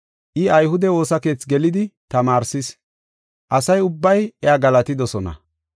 I ayhude woosa keethi gelidi tamaarsis; asa ubbay iya galatidosona.